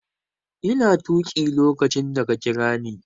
Ina tuƙi lokacin da ka kira ni.